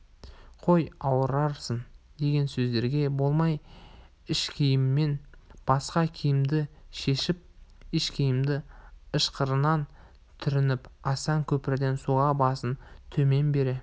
қой ауырарсың деген сөздерге болмай ішкиімнен басқа киімді шешіп ішкиімді ышқырынан түрініп асан көпірден суға басын төмен бере